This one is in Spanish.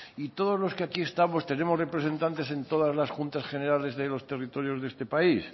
y todos los que aquí estamos tenemos representantes en todas las juntas generales de los territorios de este país